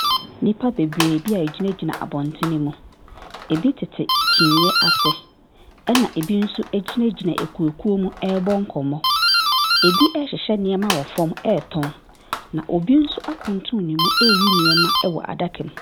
Nnipa bebree bi a wɔgyinagyina abɔntene mu. Ɛbi tete kyiniiɛ ase, ɛna ɛbi nso gyinagyina akuo akuo mu rebɔ nkɔmmɔ. Ɛbi rehyehyɛ nneɛma wɔ fam retɔn. Na obi nso akuntunu ne mu reyi nneɛma wɔ adaka bi mu.